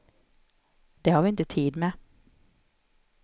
Det har vi inte tid med.